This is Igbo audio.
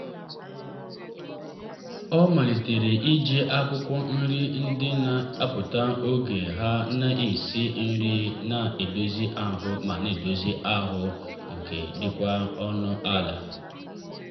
ọ malitere iji akwụkwọ nri ndị na-apụta oge ha na-esi nri na-edozi ahụ ma na-edozi ahụ ma dịkwa ọnụ ala.